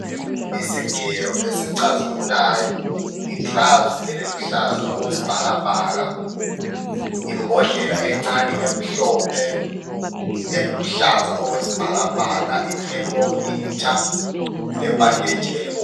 Isigelo esicazimulayo, igilavisi eliluhlaza okwesibhakabhaka, imbodlela encane emhlophe eluhlaza okwesibhakabhaka I thermometer lebhanditshi elibomvu.